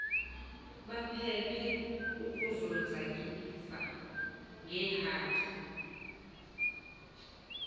baphephe ukuzonzakalisa ngeehaki